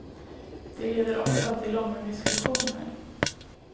Det leder ofta till långa diskussioner.